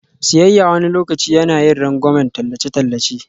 Siyayya wani lokaci yana yin rangwamen tallace-tallace.